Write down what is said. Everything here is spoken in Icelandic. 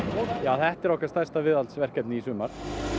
þetta er okkar stærsta viðhaldsverkefni í sumar